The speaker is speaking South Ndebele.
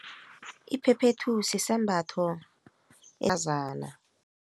Iphephethu sisembatho